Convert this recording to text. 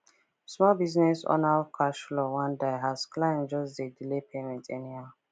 small biz owner cash flow wan die as clients just dey delay payment anyhow